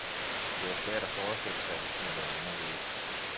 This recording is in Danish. Det var svært at forestille sig, at det kunne være anderledes.